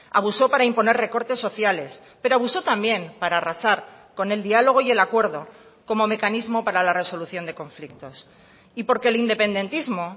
abusó para imponer recortes sociales pero abusó también para arrasar con el diálogo y el acuerdo como mecanismo para la resolución de conflictos y porque el independentismo